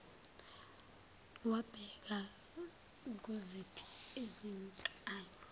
wabheka kuziphi izinkalo